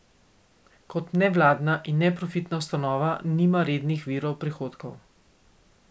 Kot nevladna in neprofitna ustanova nima rednih virov prihodkov.